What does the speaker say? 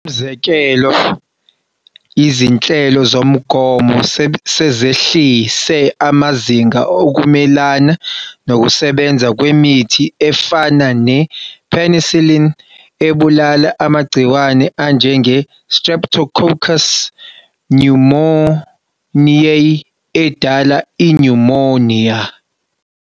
Umzekelo, izinhlelo zomgomo sezehlise amazinga ukumelana nokusebenza kwemithi efana ne-penicillin ebulala amagciwane anjenge-Streptococcus pneumoniae edala inyumoniya.